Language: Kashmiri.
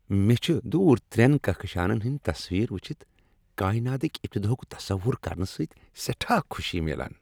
مے٘ چھِ دوٗر ترٛین كہككشانن ہندۍ تصویر وٗچھِتھ کایناتٕکۍ ابتداہُک تصور كرنہٕ سٕتۍ سیٹھاہ خوشی میلان۔